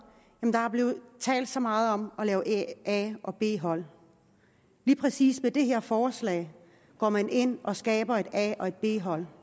der er blevet talt så meget om at lave a og b hold lige præcis med det her forslag går man ind og skaber et a og et b hold